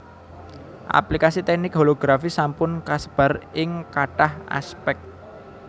Aplikasi teknik holografi sampun kasebar ing kathah aspèk